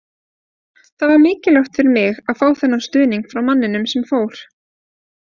Það var mikilvægt fyrir mig að fá þennan stuðning frá manninum sem fór.